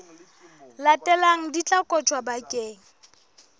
latelang di tla kotjwa bakeng